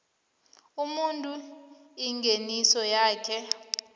umuntu ingeniso yakhe